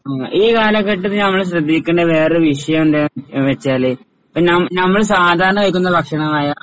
ഉം ഈ കാലഘട്ടത്തില് നമ്മള് ശ്രദ്ധിക്കേണ്ട വേറൊരു വിഷയം എന്താന്ന് വെച്ചാല് ഇപ്പൊ ന നമ്മള് സാധാരണ കഴിക്കുന്ന ഭക്ഷണമായ